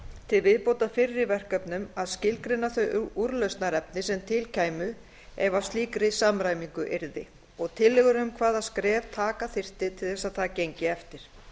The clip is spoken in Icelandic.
til viðbótar fyrri verkefnum að skilgreina þau úrlausnarefni sem til kæmu ef að slíkri samræmingu yrði tillögur um hvaða skref taka þyrfti til þess að það gengi eftir